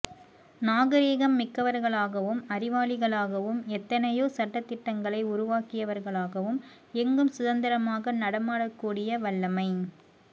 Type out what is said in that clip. நாகரிகம் மிக்கவர்களாகவும் அறிவாளிகளாகவும் எத்தனையோ சட்டதிட்டங்களை உருவாக்கியவர்களாகவும் எங்கும் சுதந்திரமாக நடமாடக்கூடிய வல்லமை